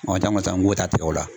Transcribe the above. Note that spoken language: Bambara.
Wa taa n wasa nko ta tigɛ o la.